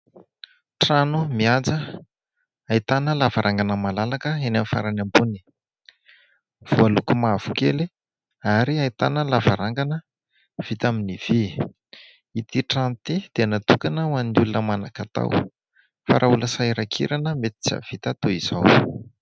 Trano mihaja ahitana lavarangana malalaka eny amin'ny farany ambony, voaloko mavokely ary ahitana lavarangana vita amin'ny vy. Ity trano ity dia natokana ho an'ny olona manan-katao, fa raha olona sahirankirana mety tsy hahavita toy izao.